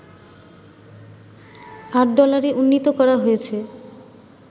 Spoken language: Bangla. ৮ ডলারে উন্নীত করা হয়েছে